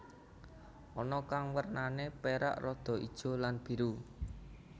Ana kang wernané perak rada ijo lan biru